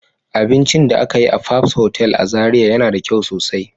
Abincin da aka yi a fabs hotel a zarai yana da kyau sosai.